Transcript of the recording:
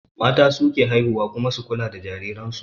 Mata su ke haihuwa su kuma kula da jariransu